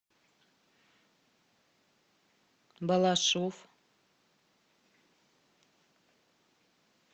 балашов